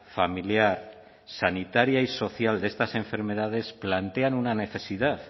familiar sanitaria y social de estas enfermedades plantean una necesidad